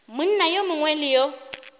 monna yo mongwe le yo